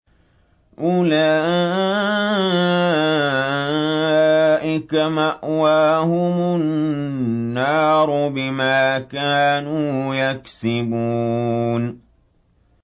أُولَٰئِكَ مَأْوَاهُمُ النَّارُ بِمَا كَانُوا يَكْسِبُونَ